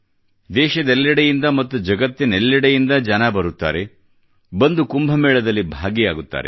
ದೇಶದಲ್ಲಿ ಮತ್ತು ಜಗತ್ತಿನೆಲ್ಲೆಡೆಯಿಂದ ಜನರು ಬರುತ್ತಾರೆ ಬಂದು ಕುಂಭ ಮೇಳದಲ್ಲಿ ಭಾಗಿಯಾಗುತ್ತಾರೆ